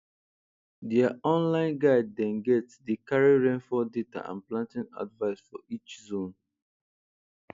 dia online guide dem get dey carry rainfall data and planting advice for each zone